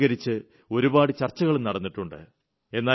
അതിനെ അധികരിച്ച് ഒരുപാട് ചർച്ചകളും നടന്നിട്ടുണ്ട്